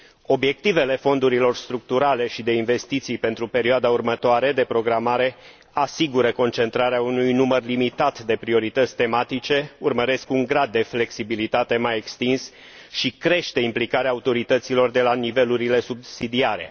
Obiectivele fondurilor structurale și de investiții pentru perioada următoare de programare asigură concentrarea unui număr limitat de priorități tematice, urmăresc un grad de flexibilitate mai extins și cresc implicarea autorităților de la nivelurile subsidiare.